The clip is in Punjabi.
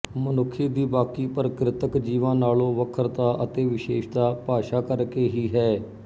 ਮਨੁੱਖੀ ਦੀ ਬਾਕੀ ਪ੍ਰਕਿਰਤਕ ਜੀਵਾਂ ਨਾਲੋਂ ਵੱਖਰਤਾ ਅਤੇ ਵਿਸ਼ੇਸ਼ਤਾ ਭਾਸ਼ਾ ਕਰਕੇ ਹੀ ਹੈ